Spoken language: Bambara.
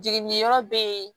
Jiginiyɔrɔ bɛ yen